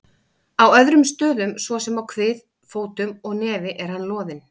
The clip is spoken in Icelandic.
Á öðrum stöðum, svo sem á kvið, fótum og nefi er hann loðinn.